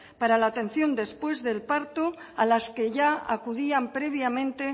para la atención después del parto a las que ya acudían previamente